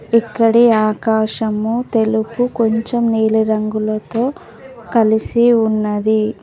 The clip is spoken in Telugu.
ఇక్కడి ఆకాశము తెలుపు కొంచెం నీలిరంగులతో కలిసి ఉన్నది.